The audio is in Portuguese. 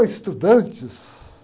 estudantes!